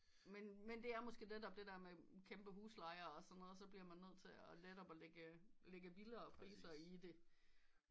Men det er måske netop det der med kæmpe husleje og sådan noget så bliver man nødt til at netop at lægge vildere priser i det